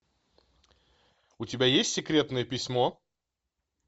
у тебя есть секретное письмо